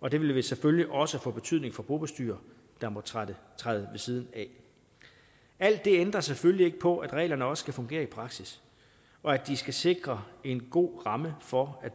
og det ville selvfølgelig også få betydning for bobestyrere der måtte træde ved siden af alt det ændrer selvfølgelig ikke på at reglerne også skal fungere i praksis og at de skal sikre en god ramme for at